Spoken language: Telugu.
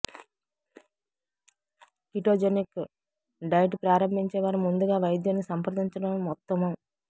కిటోజెనిక్ డైట్ ప్రారంభించే వారు ముందుగా వైద్యున్ని సంప్రదించడం ఉత్తమం